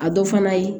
A dɔ fana ye